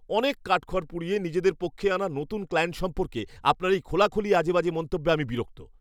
অনেক কাঠখড় পুড়িয়ে নিজেদের পক্ষে আনা নতুন ক্লায়েন্ট সম্পর্কে আপনার এই খোলাখুলি আজেবাজে মন্তব্যে আমি বিরক্ত।